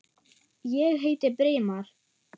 Ég heiti Brimar.